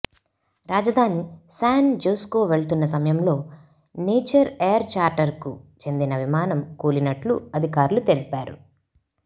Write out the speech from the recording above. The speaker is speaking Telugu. రాజధాని శాన్ జోస్కు వెళ్తున్న సమయంలో నేచర్ ఎయిర్ చార్టర్కు చెందిన విమానం కూలినట్లు అధికారులు తెలిపారు